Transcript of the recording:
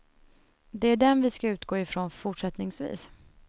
Det är den vi ska utgå ifrån fortsättningsvis.